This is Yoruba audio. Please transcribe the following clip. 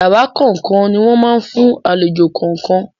Yàrá kọ̀ọ̀kan ni wọ́n máa fún àlejò kọ̀ọ̀kan.